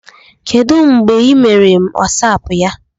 Kedu mgbe ị mere WhatsApp ya?